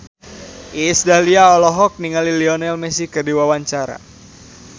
Iis Dahlia olohok ningali Lionel Messi keur diwawancara